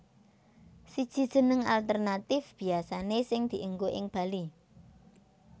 Siji Jeneng alternatif biasane sing dienggo ing Bali